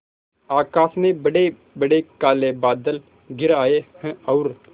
आकाश में बड़ेबड़े काले बादल घिर आए हैं और